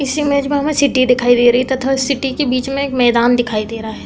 इस इमेज में हमे सीटी दिखाई दे रही है तथा इस सिटी के बीच में एक मैदान दिखाई दे रहा है।